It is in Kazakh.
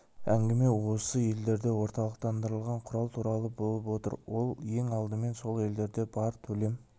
әңгіме осы елдерде орталықтандырылған құрал туралы болып отыр ол ең алдымен сол елдерде бар төлем